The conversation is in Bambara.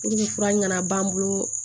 fura ɲɛna b'an bolo